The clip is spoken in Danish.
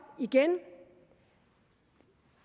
igen